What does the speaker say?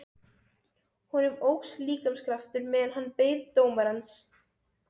Honum óx líkamskraftur meðan hann beið dómarans.